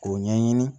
K'o ɲɛɲini